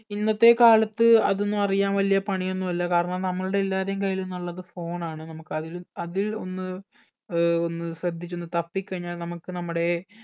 ഇന്നത്തെ കാലത്ത് അതൊന്നും അറിയാൻ വലിയ പണി ഒന്നും അല്ല കാരണം നമ്മൾടെ എല്ലാരേയും കയ്യിൽ ഇന്നുള്ളത് phone ആണ് നമ്മക്ക് അതിൽ അതിൽ ഒന്ന് ഏർ ഒന്ന് ശ്രദ്ധിച്ചൊന്നു തപ്പി കഴിഞ്ഞാൽ നമ്മക്ക് നമ്മടെ